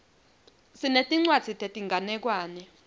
sinetincwadzi tetinganekwane